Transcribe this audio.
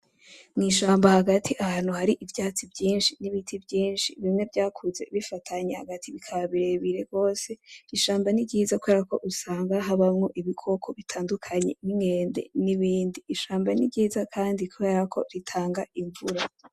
N'ishamba hagati ahantu hari ivyatsi vyinshi n'ibiti vyinshi, bimwe vyakuze bifatanye hagati bikaba birebire gose. Ishamba ni ryiza kubera ko usanga habamwo ibikoko bitandukanye nk'inkende nibindi, ishamba ni ryiza kandi kubera ko ritanga imvura.